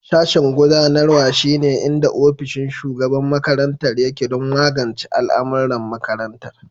Sashen gudanarwa, shine inda ofishin shugaban makarantar yake don magance al'amuran makarantar.